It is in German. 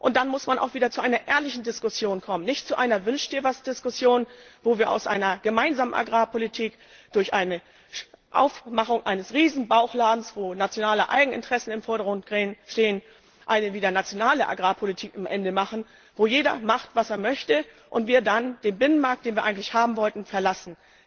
Dann muss man auch wieder zu einer ehrlichen Diskussion kommen, nicht zu einer Wünsch dir was Diskussion, bei der wir aus einer gemeinsamen Agrarpolitik durch das Aufmachen eines Riesen Bauchladens, wo nationale Eigeninteressen im Vordergrund stehen, letztendlich wieder eine nationale Agrarpolitik machen, bei der jeder macht was er möchte, und wir dann den Binnenmarkt, den wir eigentlich haben wollten, verlassen.